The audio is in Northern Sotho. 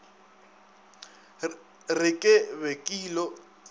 re ke be ke ilo